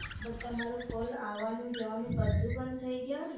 But તમારું call અવાનૂ જવાનું બધું બંધ થઇ ગયા હોયને